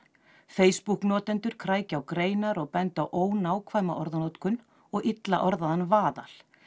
Facebook notendur krækja á greinar og benda á ónákvæma orðanotkun og illa orðaðan vaðal